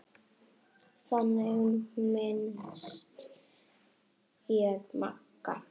Þannig minnist ég Magga.